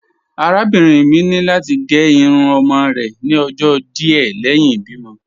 Arábìnrin mi ni lati gẹ irun ọmọ rẹ ni ọjọ́ díẹ̀ lẹhin ibìmo.